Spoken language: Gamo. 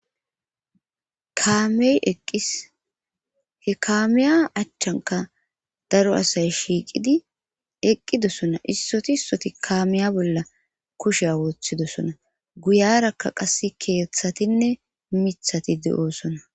kaamey eqqis he kaamiya achchanka daro asay shiiqidi eqqidosona issoti ssoti kaamiya bolla kusheya woththidosona guyarakka qass keeththatinne mithati de7oosona